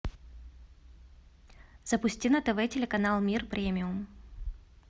запусти на тв телеканал мир премиум